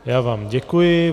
Já vám děkuji.